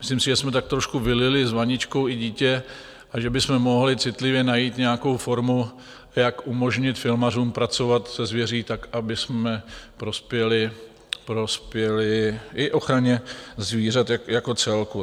Myslím si, že jsme tak trošku vylili s vaničkou i dítě a že bychom mohli citlivě najít nějakou formu, jak umožnit filmařům pracovat se zvěří tak, abychom prospěli i ochraně zvířat jako celku.